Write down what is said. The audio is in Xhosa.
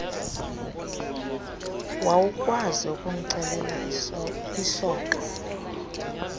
wawukwazi ukumcelela isoka